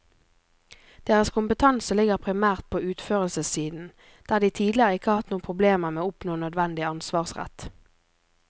Deres kompetanse ligger primært på utførelsessiden, der de tidligere ikke har hatt noen problemer med å oppnå nødvendig ansvarsrett.